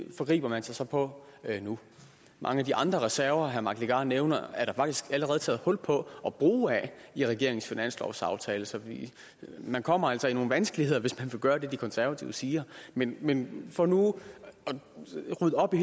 forgriber man sig så på nu mange af de andre reserver herre mike legarth nævner er der faktisk allerede taget hul på at bruge af i regeringens finanslovsaftale så man kommer altså i nogle vanskeligheder hvis man vil gøre det de konservative siger men men for nu at rydde op i